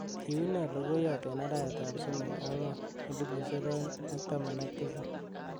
kiune logoyot en arawet ab somok ang'wan elipusiek oeng ak taman ak tisab